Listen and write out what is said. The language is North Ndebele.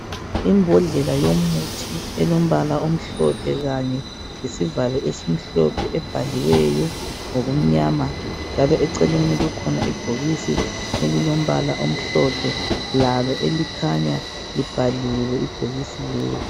Imbodlela yomuthi elombala omhlophe kanye lesivalo esimhlophe ebhaliweyo ngokumnyama njalo eceleni kukhona ibhokisi elilo mbala omhlophe lalo elikhanya libhaliwe ibhokisi leli.